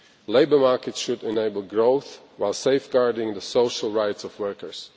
Labour markets should enable growth, while safeguarding the social rights of workers.